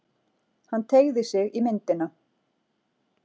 Hann teygði sig í myndina.